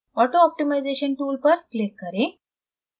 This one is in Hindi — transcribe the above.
auto optimization tool पर click करें